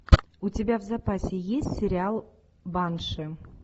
у тебя в запасе есть сериал банши